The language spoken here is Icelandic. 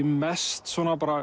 mest